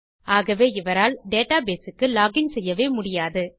ஆகவே இவரால் டேட்டாபேஸ் க்கு லோகின் செய்யவே முடியாது